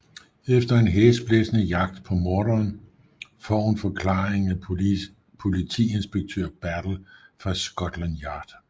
Efter en hæsblæsende jagt på morderen får hun forklaringen af Politiinspektør Battle fra Scotland Yard